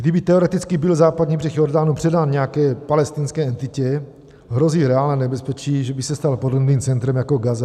Kdyby, teoreticky, byl Západní břeh Jordánu předán nějaké palestinské entitě, hrozí reálné nebezpečí, že by se stal podobným centrem jako Gaza.